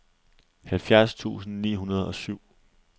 halvfjerds tusind ni hundrede og syv